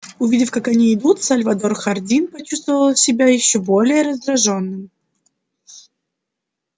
увидев как они идут сальвадор хардин почувствовал себя ещё более раздражённым